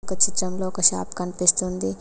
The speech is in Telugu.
ఈ చిత్రంలో ఒక షాప్ కనిపిస్తుంది.